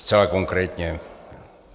Zcela konkrétně.